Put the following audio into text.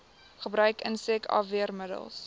gebruik insek afweermiddels